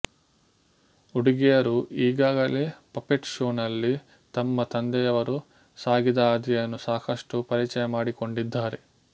ಹುಡುಗಿಯರು ಈಗಾಗಲೇ ಪಪೆಟ್ ಶೋನಲ್ಲಿ ತಮ್ಮ ತಂದೆಯವರು ಸಾಗಿದಹಾದಿಯನ್ನು ಸಾಕಷ್ಟು ಪರಿಚಯಮಾಡಿಕೊಂಡಿದ್ದಾರೆ